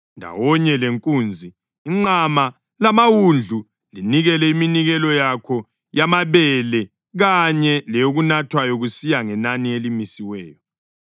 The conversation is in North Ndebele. Ndawonye lenkunzi, inqama lamawundlu, linikele iminikelo yakho yamabele kanye leyokunathwayo kusiya ngenani elimisiweyo.